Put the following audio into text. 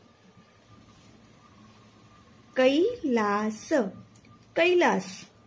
કૈ લા શ કૈલાશ